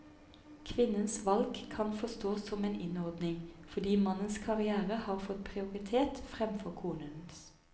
Kvinnens valg kan forstås som en innordning, fordi mannens karriere har fått prioritet fremfor konens.